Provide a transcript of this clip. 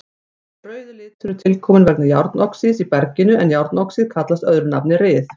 Þessi rauði litur er tilkominn vegna járnoxíðs í berginu en járnoxíð kallast öðru nafni ryð.